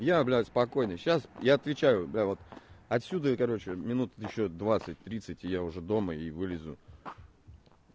я блядь спокойно сейчас я отвечаю блядь вот отсюда и короче минут ещё двадцать тридцать и я уже дома и вылезу